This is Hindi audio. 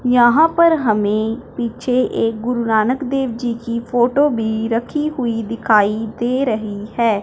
यहां पर हमें पीछे एक गुरु नानक देव जी की फोटो भी रखी हुई दिखाई दे रही है।